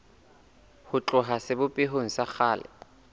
ho tloha sebopehong sa kgale